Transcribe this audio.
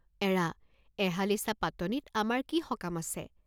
এৰা এহালিচা পাতনিত আমাৰ কি সকাম আছে?